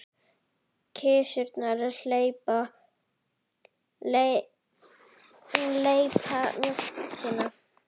Kisurnar lepja mjólkina.